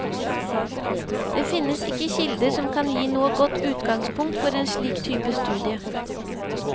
Det finnes ikke kilder som kan gi noe godt utgangspunkt for en slik type studie.